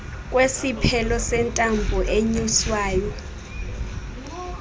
kwesiphelo sentambo enyuswayo